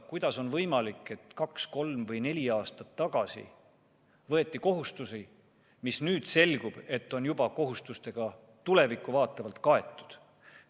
Kuidas on võimalik, et kaks, kolm või neli aastat tagasi võeti kohustusi, mis, nüüd selgub, on juba kohustustega, tulevikku vaatavalt, kaetud?